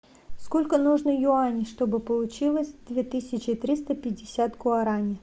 сколько нужно юаней чтобы получилось две тысячи триста пятьдесят гуарани